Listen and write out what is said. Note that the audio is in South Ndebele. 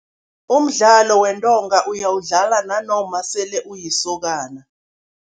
Umdlalo wentonga uyawudlala nanoma sele ulisokana.